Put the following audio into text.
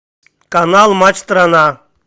канал матч страна